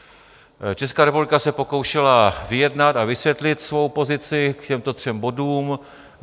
Česká republika se pokoušela vyjednat a vysvětlit svou pozici k těmto třem bodům.